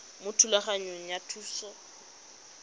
mo thulaganyong ya thuso y